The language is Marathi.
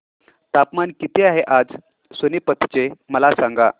तापमान किती आहे आज सोनीपत चे मला सांगा